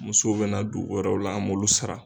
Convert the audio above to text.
Musow bɛ na dugu wɛrɛw la an b'olu sara